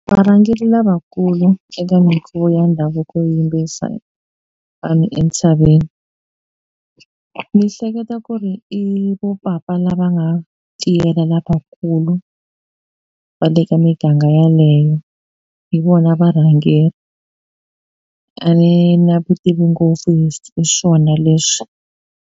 Varhangeri lavakulu eka mikhuvo ya ndhavuko yo yimbisa vanhu entshaveni ni hleketa ku ri i vo papa la va nga tirha lavakulu va le ka miganga yaleyo hi vona varhangeri a ni na vutivi ngopfu hi swona leswi